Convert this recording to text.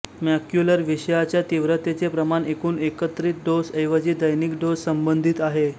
macular विषाच्या तीव्रतेचे प्रमाण एकूण एकत्रित डोस ऐवजी दैनिक डोस संबंधित आहे